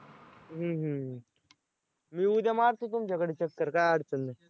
हं हं हं मी उद्या मारतो तुमच्याकडं चक्कर काय अडचण नाही.